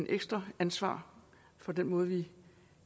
ekstra ansvar for den måde vi